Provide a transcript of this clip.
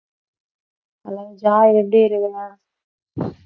hello joy எப்படி இருக்கிற